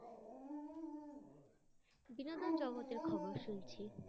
বিনোদন জগতের খবর শুনছি।